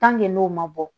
n'o ma bɔ